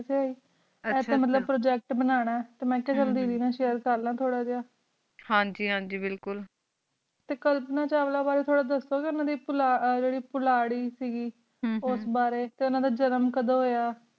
ਆਚਾ ਆਚਾ ਅਸ ਮਤਲੂਬ project ਬਨਾਨਾ ਆ ਮੈਂ ਕਿਆ ਚਲ ਦੀਦੀ ਨਾਲ share ਕੇਰ ਲਾ ਤੋਰਾ ਜੀਆ ਹਨ ਜੀ ਹਨ ਜੀ ਬਿਲਕੁਲ ਟੀ ਕਲਪਨਾ ਚਾਵਲਾ ਬਰੀ ਦਸੋ ਗੀ ਜੇਰੀ ਪੋਲਾ ~ ਪੋਲਾਰ੍ਰੀ ਕ ਗੀ ਹਮ ਹਮ ਓਸ ਬਰੀ ਟੀ ਓਨਾ ਦਾਜਨਮ ਕਿਡੋ ਹੋਯਾ